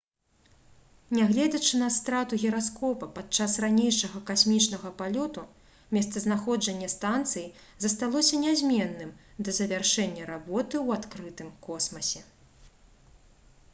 нягледзячы на страту гіраскопа падчас ранейшага касмічнага палёту месцазнаходжанне станцыі засталося нязменным да завяршэння работы ў адкрытым космасе